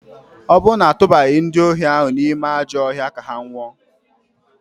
Ọ bụ na a tụbaghị ndị ohi ahụ n'ime ajọ ọhịa ka ha nwụọ?